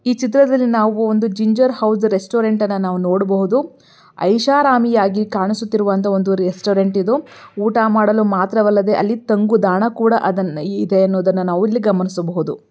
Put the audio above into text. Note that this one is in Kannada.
ನಾವು ಒಂದು ಜಿಂಜರ್ ಹೌಸ್ ರೆಸ್ಟೋರೆಂಟ್ ನೋಡಬಹುದು. ಐಶಾರಾಮಿಯಾಗಿ ಕಾಣಿಸಿತ್ತಿರುವ ಒಂದು ರೆಸ್ಟೋರೆಂಟ್ ಇದು ಊಟ ಮಾಡಲು ಮಾತ್ರವಲ್ಲದೆ ಅಲ್ಲಿ ತಂಗುದಾಣ ಇದೆ ಅಂತ ಇಲ್ಲಿ ನಾವು ಗಮನಿಸ ಬಹುದು.